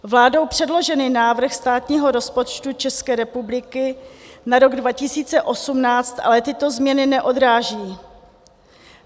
Vládou předložený návrh státního rozpočtu České republiky na rok 2018 ale tyto změny neodráží.